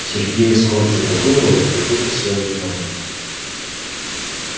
сергей скорчил такую рожу как будто съел лимон